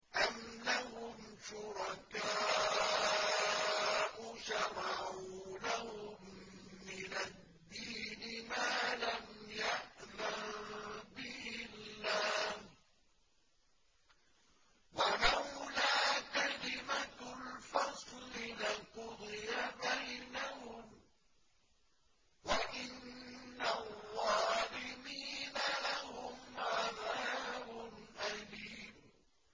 أَمْ لَهُمْ شُرَكَاءُ شَرَعُوا لَهُم مِّنَ الدِّينِ مَا لَمْ يَأْذَن بِهِ اللَّهُ ۚ وَلَوْلَا كَلِمَةُ الْفَصْلِ لَقُضِيَ بَيْنَهُمْ ۗ وَإِنَّ الظَّالِمِينَ لَهُمْ عَذَابٌ أَلِيمٌ